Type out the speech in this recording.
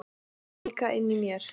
Líka inni í mér.